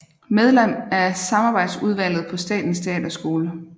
Medlem af samarbejdsudvalget på Statens Teaterskole